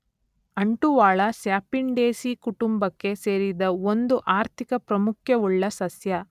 ಅಂಟುವಾಳ, Sapindaceae ಕುಟುಂಬಕ್ಕೆ ಸೇರಿದ ಒಂದು ಆರ್ಥಿಕ ಪ್ರಾಮುಖ್ಯವುಳ್ಳ ಸಸ್ಯ